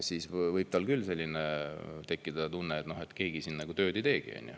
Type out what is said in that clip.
Siis võib tal küll tekkida selline tunne, et keegi siin tööd ei teegi.